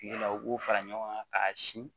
Kile la u b'o fara ɲɔgɔn kan k'a sin